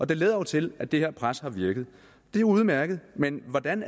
det lader jo til at det her pres har virket og det er udmærket men hvordan